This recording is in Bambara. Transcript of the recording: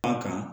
An kan